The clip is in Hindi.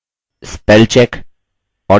spellcheck वर्तनी की जाँच